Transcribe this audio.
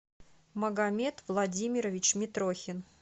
магомед владимирович митрохин